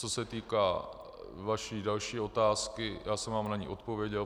Co se týká vaší další otázky, já jsem vám na ni odpověděl.